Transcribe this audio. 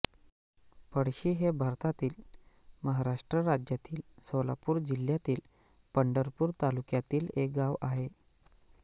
पळशी हे भारतातील महाराष्ट्र राज्यातील सोलापूर जिल्ह्यातील पंढरपूर तालुक्यातील एक गाव आहे